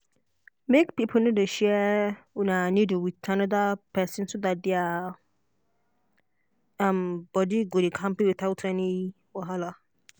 make people no dey share um needle with another person so that their that their um body go dey kampe without any wahala.